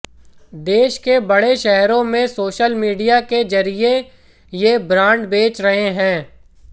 देश के बड़े शहरों में सोशल मीडिया के जरिए ये ब्रांड बेच रहे हैं